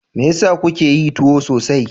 Me yasa kuka yi tuwo sosai?